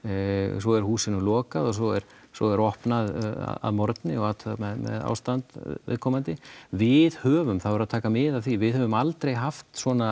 svo er húsinu lokað og svo er svo er opnað að morgni og athugað með ástand viðkomandi við höfum það verður að taka mið af því við höfum aldrei haft svona